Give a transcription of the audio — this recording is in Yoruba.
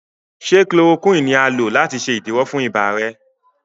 ṣe Chloroquine ní a lò láti ṣe idiwọ fún ibà rẹ?